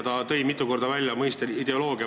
Ta tõi mitu korda välja mõiste "ideoloogia".